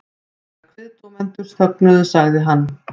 Þegar kviðdómendur þögnuðu sagði hann